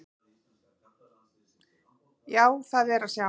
Já, það er að sjá.